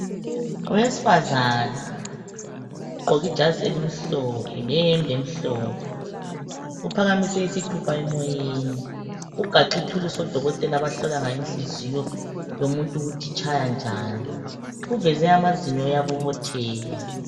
Owesifazana ogqoke ijazi elimhlophe leyembe emhlophe uphakamise isithupha emoyeni, ugaxe ithuluzi odokotela abahlola ngayo inhliziyo yomuntu ukuthi itshaya njani. Uveze amazinyo uyabobotheka.